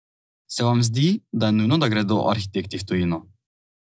Se vam zdi, da je nujno, da gredo arhitekti v tujino?